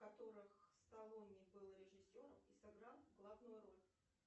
которых сталлоне был режиссером и сыграл главную роль